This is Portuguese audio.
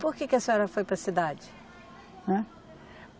E por que que a senhora foi para a cidade? Né